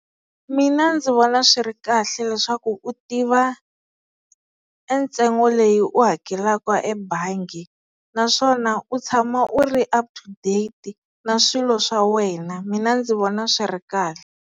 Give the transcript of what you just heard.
Mina ndzi vona swi ri kahle leswaku u tiva e ntsengo leyi u hakelaka ebangi naswona u tshama u ri up to date na swilo swa wena mina ndzi vona swi ri kahle.